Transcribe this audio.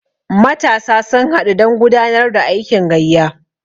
matasa sun haɗu don gudanar da aikin gayya